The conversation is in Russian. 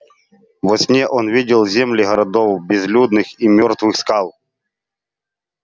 во сне он видел земли городов безлюдных и мёртвых скал